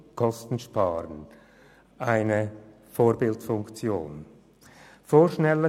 Damit nimmt die Institution eine Vorbildfunktion ein.